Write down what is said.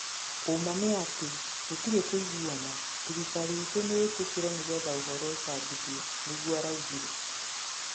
"uma nĩ atĩ gũtĩrĩ kũĩgũana" thĩrĩkarĩ ĩtũ nĩĩtĩkĩre nĩgetha ũhoro ũcabĩthĩo," nigũo araugĩre